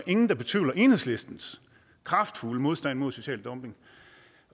ingen der betvivler enhedslistens kraftfulde modstand mod social dumping